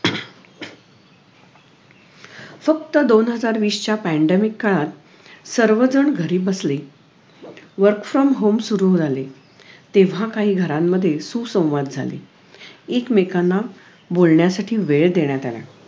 फक्त दोन हजार वीसच्या pandemic काळात सर्वजण घरी बसले work from home सुरु झाले तेव्हा काही घरांमध्ये सुसंवाद झाले एक मेकांना बोलण्यासाठी वेळ देण्यात आला